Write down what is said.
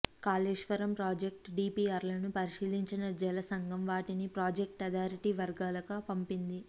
Kaleshwaram project డిపిఆర్లను పరిశీలించిన జలసంఘం వాటిని ప్రాజెక్టు అథారిటీ వర్గాలకు పంపింది